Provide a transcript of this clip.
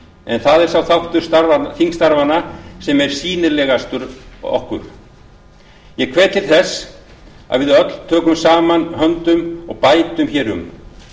en það er sá þáttur þingstarfanna sem sýnilegastur er ég hvet til þess að við öll tökum saman höndum og bætum hér um